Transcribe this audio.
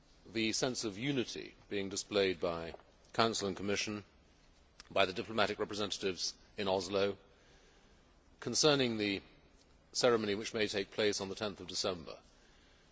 The sense of unity being displayed by Council and Commission, and by the diplomatic representatives in Oslo, concerning the ceremony which may take place on 10 December, is encouraging.